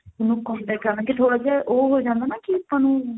ਉਹਨੂੰ contact ਕਰਾਂਗੇ ਥੋੜਾ ਜਾ ਉਹ ਹੋ ਜਾਂਦਾ ਨਾ ਕੀ ਆਪਾਂ ਨੂੰ